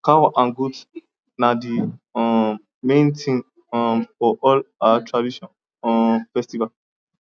cow and goat na the um main thing um for all our tradition um festival